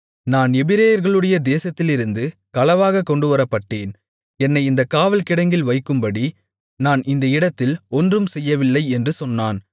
நான் எபிரெயர்களுடைய தேசத்திலிருந்து களவாகக் கொண்டுவரப்பட்டேன் என்னை இந்தக் காவல்கிடங்கில் வைக்கும்படி நான் இந்த இடத்தில் ஒன்றும் செய்யவில்லை என்றும் சொன்னான்